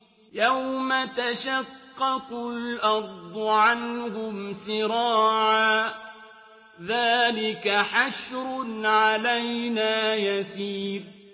يَوْمَ تَشَقَّقُ الْأَرْضُ عَنْهُمْ سِرَاعًا ۚ ذَٰلِكَ حَشْرٌ عَلَيْنَا يَسِيرٌ